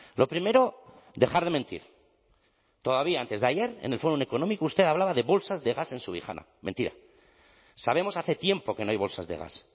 lo primero dejar de mentir todavía antes de ayer en el fórum económico usted hablaba de bolsas de gas en subijana mentira sabemos hace tiempo que no hay bolsas de gas